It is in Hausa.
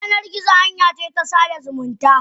Yanar gizo hanyace ta sada zumunta.